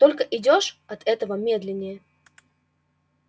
только идёшь от этого медленнее